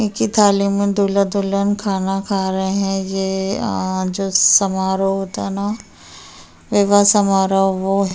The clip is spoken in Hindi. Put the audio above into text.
एक ही थाली में दूल्हा-दुल्हन खाना खा रहे हैं। ये जो समारोह होता है न ये वो समारोह वो है।